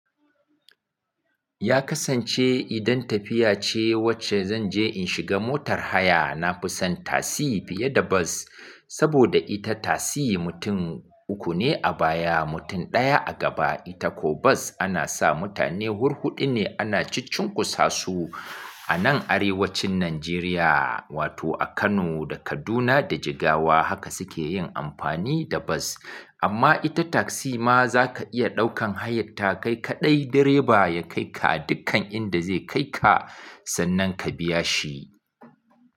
Ya kasance idan tafiya ce, wacce zan je in shiga motar haya, na fi son tasi fiye da bas. Saboda ita tasi mutum uku ne a baya, mutum ɗaya a gaba. Ita ko bas, ana sa mutane hurhuɗu ne ana ciccinkusa su. A nan arewacin Nanjeriya, wato a Kano da Kaduna da Jigawa, haka suke yin amfani da bas. Amma ita taksi ma, za ka iya ɗaukan hayar ta kai kaɗai direba ya kai ka dukkan inda zai kai ka, sannan ka biya shi.